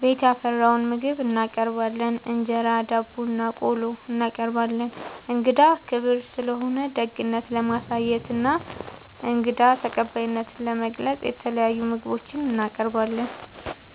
ቤት ያፈራውን ምግብ እናቀርባለን እንጀራ፣ ዳቦናቆሎ እናቀርባለን። እንግዳ ክብር ስለሆነ ደግነት ለማሳየትና እንግዳ ተቀባይነትን ለመግለፅ የተለያዩ ምግቦች እናቀርባለን።